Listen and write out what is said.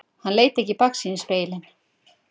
Hann leit ekki í baksýnisspegilinn.